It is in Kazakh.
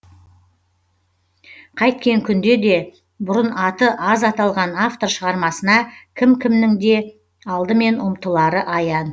қайткен күнде де бұрын аты аз аталған автор шығармасына кім кімнің де алдымен ұмтылары аян